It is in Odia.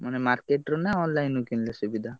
ମାନେ market ରୁ ନା online ରୁ କିଣିଲେ ସୁବିଧା।